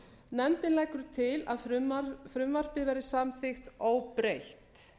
nefndin leggur til að frumvarpið verði samþykkt óbreytt